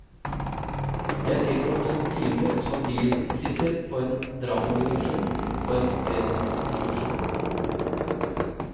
Jeg tilbragte noen timer som bisitter på en dramaproduksjon og en opplesningsproduksjon.